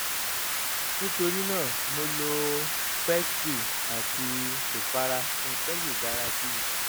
nítorí náà mo lo pessary àti ìpara nǹkan sì dára sí i